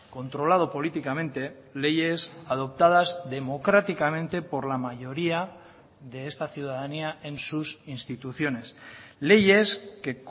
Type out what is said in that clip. controlado políticamente leyes adoptadas democráticamente por la mayoría de esta ciudadanía en sus instituciones leyes que